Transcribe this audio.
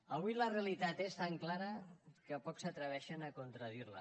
avui la realitat és tan clara que pocs s’atreveixen a contradirla